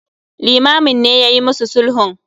Limamin ne yayi mu su sulhun.